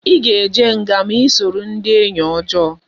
I ga eje nga ma esoro ndi enyi ojoo